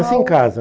Nasci em casa.